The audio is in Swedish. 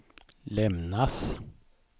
lämnas